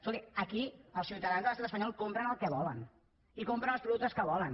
escolti aquí els ciutadans de l’estat espanyol compren el que volen i compren els productes que volen